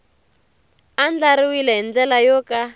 andlariwile hi ndlela yo ka